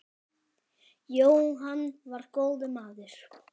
Jóhann var góður maður.